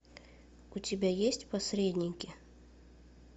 у тебя есть посредники